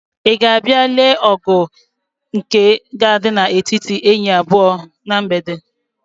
Ị ga-abịa lee ọgụ nke ga-adị n'etiti enyi abụọ ahụ na mgbede?